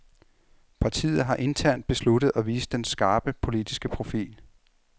Partiet har internt besluttet at vise den skarpe politiske profil.